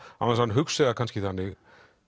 án þess að hann hugsi það kannski þannig